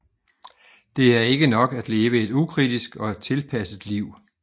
Det er ikke nok at leve et ukritisk og tilpasset liv